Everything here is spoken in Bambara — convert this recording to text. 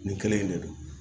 Nin kelen in de don